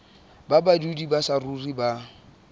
ba badudi ba saruri ba